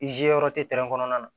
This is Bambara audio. Izi yɔrɔ tɛ kɔnɔna na